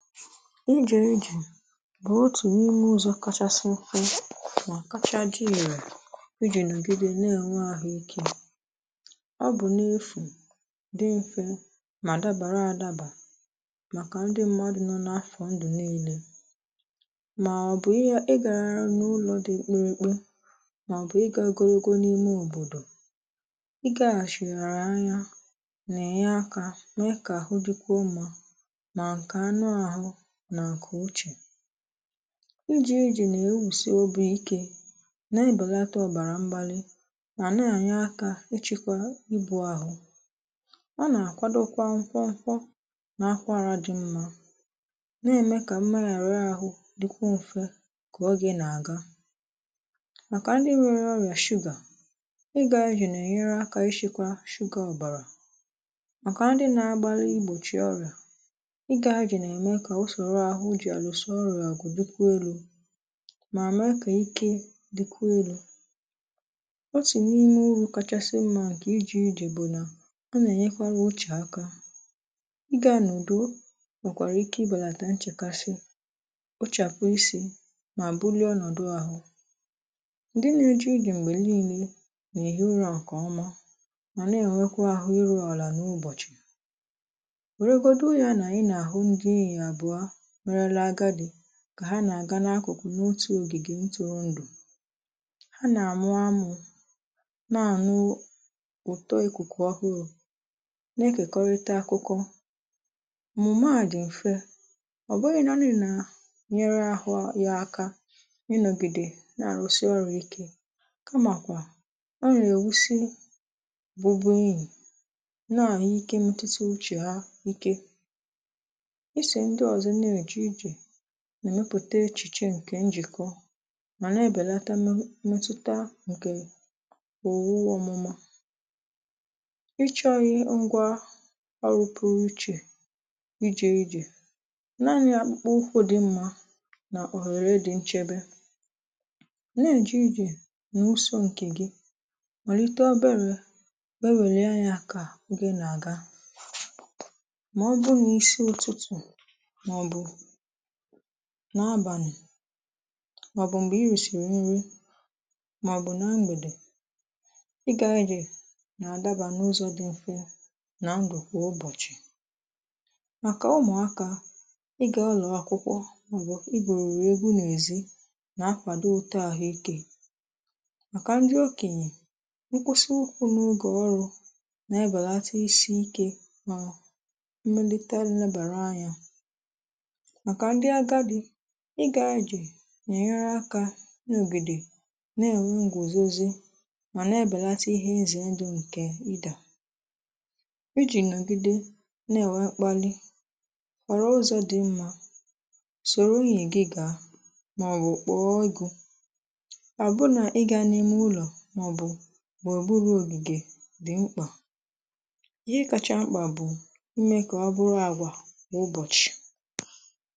ije ije bụ̀ otù n’ime ụzọ̇ kachasị mfe mà kacha di ire ijì nà ògìdè na-ènwe àhụ ikė, ọ bụ̀ n’efù dị mfė mà dabara adabà màkà ndị mmadụ̀ nọ n’afọ ndụ̀ niilė màọbụ̀ ihe ị gàràra n’ụlọ̇ dị mkpịrị̀ mkpị, màọbụ̀ ị gàgọrọ̀ogọ̀ n’ime òbòdò ị gàghàshìrìghàrà anya nà ẹ̀nyẹ akȧ mẹ̀ẹ kà àhụ dịkwuo mmȧ, ma nke anu ahu na nke uche, ijie ije nà-ewùsị̀ obù ikė na-ebàlata ọ̀bàrà mgbalị mà na-ànyị̀ aka ichekwa ibù ahụ̀ ọ nà-àkwadokwa nkwọ nkwọ na-akwara dị mmȧ na-ème kà mmȧrara ȧhụ̇ dịkwụ m̀fe kà ọ gị nà-àga, màkà ndị nwere ọrịà sugar ị gȧ ìje nà-ènyere akȧ ishikwa sugar ọ̀bàrà màkà ndị na-agbalị igbòchi ọrịà ị gȧ ìje nà eme ka usoro ahu na usoro ọrịà gubekwa elu ma mee ka ike dikwa elu. otu n'ime uru kachasi mma nke ije ije bu na o na enyekwara uche aka gà-ànà ùdù nwekwara ike ibelata nchekasi, kpochapu isi ma bulie onodu ahu m̀gbè niilė nà èhi ụra nke ọma mana enwekwa ahu iruala n'ubochi were gbado ya na anyi n'ahu ndi iyi abuo ghorola agadi kà ha nà-àga n’akụ̀kụ̀ n’otù ògìgè ntọrọ ndụ̀ ha nà-àmụ amụ̇ na-àṅụ ụ̀tọ ekùkù ohụ̀rù na-ekekọrịta akụkọ mụ̀maà dì m̀fe ọ̀ bụghị̇ naani nà nyere ahụ yȧ aka ni-nọ̀gìdè na-àrụsị ọrụ̇ ike kamàkwà ọ nà-èwusi bụbụnyì n'ahu ike ntisi uchè ha ike. iso ndi ozo n'eje ije nà èmepùte echìche ǹkè njìkọ mà na èbèlata memetuta ǹkè òwu ọ̀mụma ichọ̇ghi ngwa ọrụpụ̀rụ̀ ichè ijè ijè naanị̇ àkpụkpa ụkwụ̇ dị mmȧ nà òhère dị̇ nchebe n'èje ijè nà uso ǹkè gị màlite obere bewèlè anya kà o gị nà àga màọ̀bụ̀ n'isi ututu màọ̀bụ̀ nà abànì màọ̀bụ̀ m̀gbè i rìsìrì nrė màọ̀bụ̀ na mgbèdè ị gȧ e jì nà àdabȧ n’ụzọ̇ dị mfe nà ndụ̀ kwà ụbọ̀chị̀ màkà ụmụ̀akȧ ị gȧ ụ̀lọ̀ akwụkwọ màọ̀bụ̀ i gbòrò egȯ n’èzi nà akwàdo ụ̀tọàhụ ikė màkà ndi okènyè nkwụsị ụkwụ n’ogè ọrụ̇ nà ebelata isi ike nà mmelità nnebàrà anyȧ makà ndị agadi ị gà ịjè n'enyeere akà n’ògìdè nà-èwe ǹgwòzòzì mà nà-ebèlata ihe izè nrị ǹkè ịdà ijì nogìdè nà-èwe mkpalị nwee ụzọ̀ dị mmȧ soro nwunye gị gà maọ̀bụ̀ kpọọ ọgụ̀ ọ bụ nà ịgà n'ime ụlọ̀ màọ̀bụ̀ gbụrụgburu ògìgè dị̀ mkpà ihe kacha mkpà bụ̀ ime kà ọ bụrụ àgwà kwà ụbọ̀chị̀.